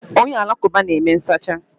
Onye alakụba na-eme nsacha.